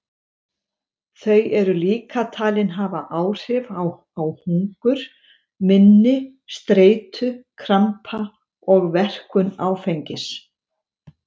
Þau eru líka talin hafa áhrif á hungur, minni, streitu, krampa og verkun áfengis.